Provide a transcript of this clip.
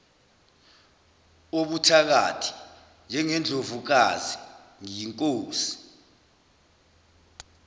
wobuthakathi njengendlovukazi ngiyinkosi